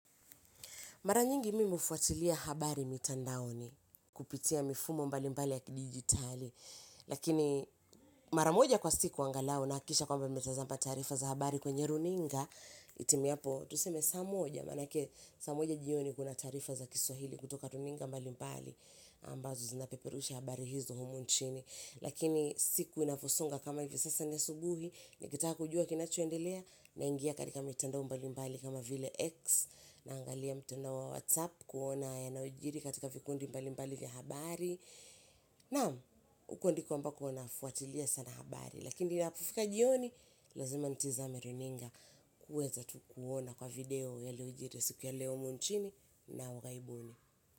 Mara nyingi mi hufuatilia habari mitandaoni kupitia mifumo mbali mbali ya kidigitali. Lakini mara moja kwa siku angalao nahakikisha kwamba nimetazama tarifa za habari kwenye runinga, itimiapo tuseme saa moja, manake saa moja jioni kuna tarifa za kiswahili kutoka runinga mbali mbali. Ambazo zinapeperusha habari hizo humu nchini. Lakini siku inavyosonga kama hivi sasa ni asubuhi nikitaka kujua kinachoendelea naingia katika mitandao mbali mbali kama vile X, naangalia mtandao wa WhatsApp kuona yanayojiri katika vikundi mbali mbali vya habari naam huko ndiko ambako nafuatilia sana habari lakini inapofika jioni lazima nitazame runinga kuweza tu kuona kwa video yaliyojiri siku ya leo humu nchini na ugaibuni.